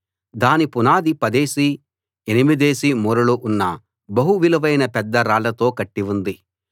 దాని పునాది పదేసి ఎనిమిదేసి మూరలు ఉన్న బహు విలువైన పెద్ద రాళ్లతో కట్టి ఉంది